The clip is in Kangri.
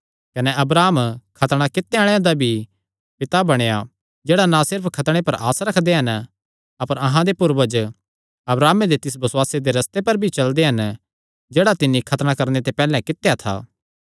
कने अब्राहम खतणा कित्तेयां आल़ेआं दा भी पिता बणेया जेह्ड़े ना सिर्फ खतणे पर आस रखदे हन अपर अहां दे पूर्वज अब्राहमे दे तिस बसुआसे दे रस्ते पर भी चलदे हन जेह्ड़ा तिन्नी खतणा करणे ते पैहल्ले कित्या था